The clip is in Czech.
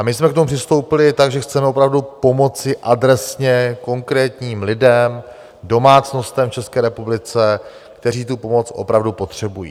A my jsme k tomu přistoupili tak, že chceme opravdu pomoci adresně konkrétním lidem, domácnostem v České republice, kteří tu pomoc opravdu potřebují.